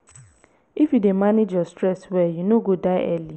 if you dey manage your stress well you no go die early.